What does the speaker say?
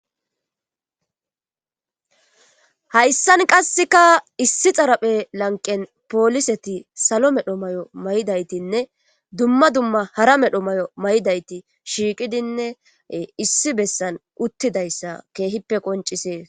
Hayan qasika issi xaraphe lanqe.poliseti salo medho mayo mayidaytinne duma duma medho mayo mayidayti issi besan utidayssa kehippe qoncisses.